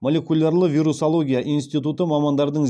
молекулярлы вирусология институты мамандардың